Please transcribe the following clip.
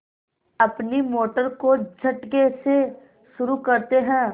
अपनी मोटर को झटके से शुरू करते हैं